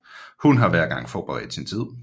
Hun har hver gang forbedret sin tid